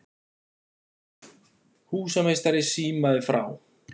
Húsameistari símaði frá